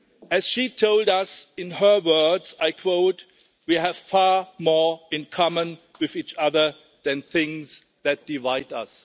As she told us, in her words, I quote We have far more in common with each other than things that divide us.'